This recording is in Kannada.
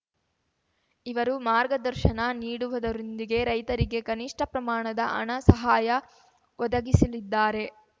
ಇವರು ಮಾರ್ಗದರ್ಶನ ನೀಡುವುದರೊಂದಿಗೆ ರೈತರಿಗೆ ಕನಿಷ್ಠ ಪ್ರಮಾಣದ ಹಣ ಸಹಾಯ ಒದಗಿಸಲಿದ್ದಾರೆ